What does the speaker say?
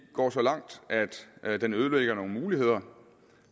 går så langt at den ødelægger nogle muligheder